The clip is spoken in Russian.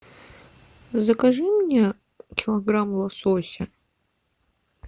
закажи мне килограмм лосося